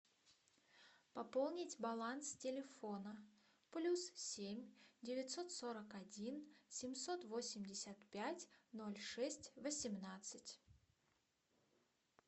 пополнить баланс телефона плюс семь девятьсот сорок один семьсот восемьдесят пять ноль шесть восемнадцать